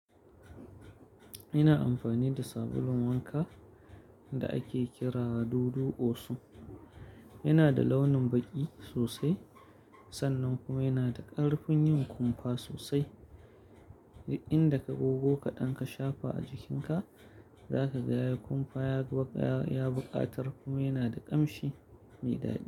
Ina amfani da sabulun wanka da ake kira dudu osu. Yana da launin baƙi sosai sannan kuma yana da ƙarfin yin kumfa sosai. Inda ka gogo kaɗan ka shafa a jikinka, za ka ga ya kumfa, ya buƙatar kuma yana da ƙamshi mai dadi.